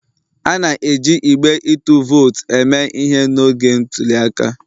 A na-eji igbe ịtụ vootu eme ihe n'oge ntuli aka